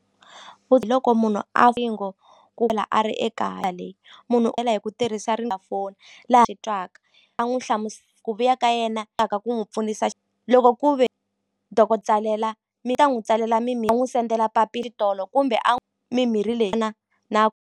hi loko munhu a a ri ekaya le munhu u hela hi ku tirhisa laha swi twaka a n'wu ku vuya ka yena ku n'wi pfunisa loko ku ve tsalela mi ta n'wi tsalela sendela tolo kumbe mimirhi leyi na.